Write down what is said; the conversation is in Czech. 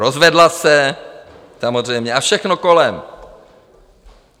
Rozvedla se samozřejmě, a všechno kolem.